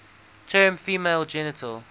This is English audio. term female genital